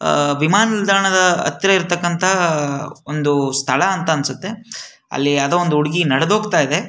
ಆಹ್ಹ್ ವಿಮಾನ ನಿಲ್ದಾಣದ ಹತ್ತಿರ ಇರತಕ್ಕಂತ ಒಂದು ಸ್ಥಳ ಅಂತ ಅನ್ಸುತ್ತೆ. ಅಲ್ಲಿ ಯಾವ್ದೋ ಒಂದು ಹುಡುಗಿ ನಡೆದ ಹೋಗ್ತಾ ಇದೆ.